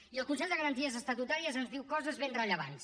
i el consell de garanties estatutàries ens diu coses ben rellevants